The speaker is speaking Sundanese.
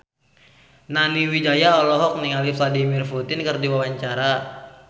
Nani Wijaya olohok ningali Vladimir Putin keur diwawancara